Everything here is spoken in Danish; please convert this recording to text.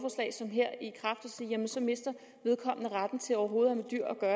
sige jamen så mister vedkommende retten til overhovedet